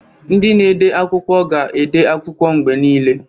Ndị na-ede akwụkwọ ga-ede akwụkwọ mgbe niile.